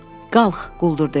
Qalx, quldur dedi.